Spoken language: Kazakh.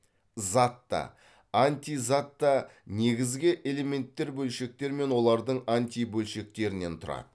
зат та антизат та негізгі элементтер бөлшектер мен олардың антибөлшектерінен тұрады